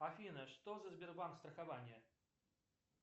афина что за сбербанк страхование